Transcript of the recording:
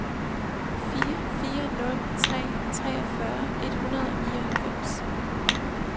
fire fire nul tre treogfyrre et hundrede og nioghalvfems